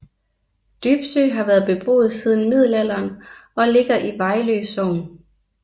Dybsø har været beboet siden middelalderen og ligger i Vejlø Sogn